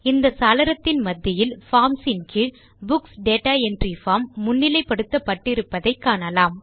இந்த சாளரத்தின் மத்தியில் பார்ம்ஸ் ன் கீழ் புக்ஸ் டேட்டா என்ட்ரி பார்ம் முன்னிலை படுத்தப்பட்டு இருப்பதை காணலாம்